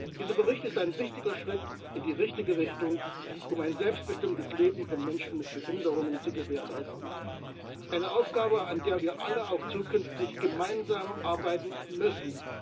Dieser Bericht ist ein wichtiger Schritt in die richtige Richtung, um ein selbstbestimmtes Leben von Menschen mit Behinderungen zu gewährleisten eine Aufgabe, an der wir alle auch zukünftig gemeinsam arbeiten müssen.